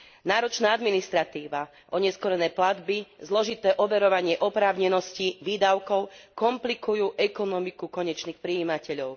Náročná administratíva, oneskorené platby, zložité overovanie oprávnenosti výdavkov komplikujú ekonomiku konečných prijímateľov.